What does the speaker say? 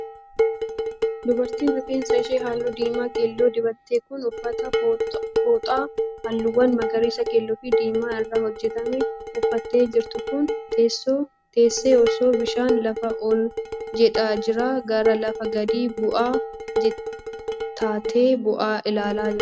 Dubartiin rifeensa ishee halluu diimaa keelloo dibatte kun, uffata fooxaa halluuwwan magariisa, keelloo fi diimaa irraa hojjatame uffattee jirtu kun, teessee osoo bishaan lafa ol jedhaa irraa gara lafa gadi bu'aa ta'etti bu'u ilaalaa jirti.